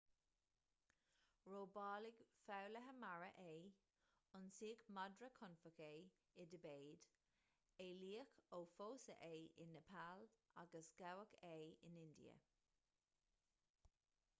robáladh foghlaithe mara é ionsaíodh madra confach é i dtibéid éalaíodh ó phósadh é i neipeal agus gabhadh é in india